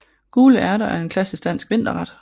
Gule ærter er en klassisk dansk vinterret